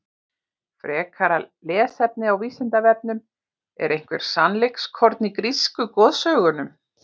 Frekara lesefni á Vísindavefnum: Er eitthvert sannleikskorn í grísku goðsögunum?